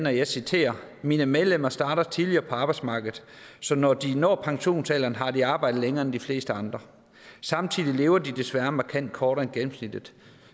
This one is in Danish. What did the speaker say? og jeg citerer mine medlemmer starter tidligere på arbejdsmarkedet så når de når pensionsalderen har de arbejdet langt længere end de fleste andre samtidig lever de desværre markant kortere end gennemsnittet